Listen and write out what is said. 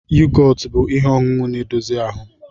Yogotu bụ ihe ọṅụṅụ na-edozi ahụ